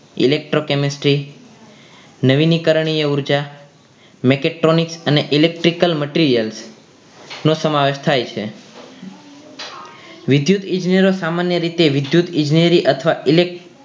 Electro chemistry નવીનીકરણીય ઊર્જા અને macatronic electrical materials નો સમાવેશ થાય છે વિદ્યુત ઇજનેરો સામાન્ય રીતે વિદ્યુત ઇજનેરી અથવા ઈલેક